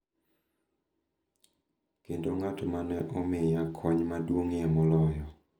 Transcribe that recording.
Kendo ng’at ma ne omiya kony maduong’ie moloyo.